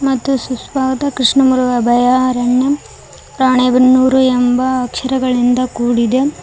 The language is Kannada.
ಮತ್ತು ಸುಸ್ವಾದ ಕ್ರೀಷ್ಣಮುರಗ ಅಭಯಾರಣ್ಯ ರಾಣೇಬೆನ್ನುರು ಎಂಬ ಅಕ್ಷರಗಳಿಂಧ ಕೂಡಿದೆ.